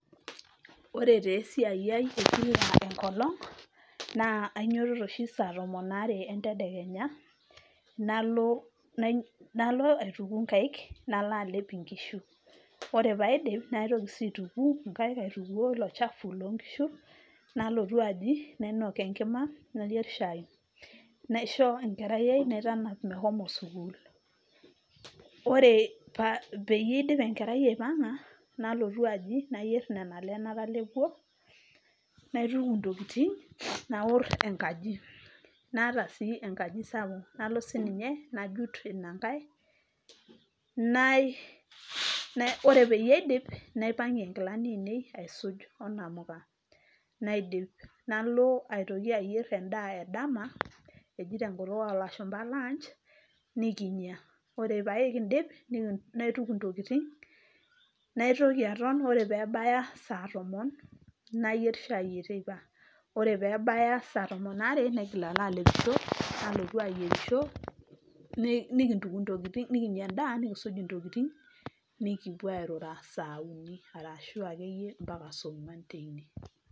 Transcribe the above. Ore taa esiai ai ekila enkolong naa kainyiototo oshi saa tomon aare entedekenya nalo aituku nkaik nalo alep inkishu. Ore paidip naitoki sii aituku nkaik aitukuoo ilo chafu loo nkishu ,nalotu aji nainok enkima nayier shai, naisho enkerai ,naitap meshomo sukuul .Ore peyie idip enkerai aipanga ,nalotu aji nayier nena ale natelepuo, naituku ntokitin , naor enkaji ,naata sii enkaji sapuk nalo sininye nalo sininye ajut ina nkae , nai , ore peyie aidip , naipangie nkilani aisuj onkamuka naidip, nalo aitoki ayier endaa edama , eji tenkutuk olashumba lunch nikinya , ore pee kindip ,naituku intokitin .Naitoki aton , ore pebaya sa tomon ,nayier shai eteipa .Ore pebaya saa tomon aare , naigil alo alepisho , nalotu ayierisho , nikintuku ntokitin , nikinya endaa nikisuj intokitin ,nikipuo airura saa uni arashu akeyie mpaka saa ongwan teine.